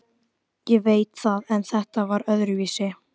Ég veit það en þetta var öðruvísi.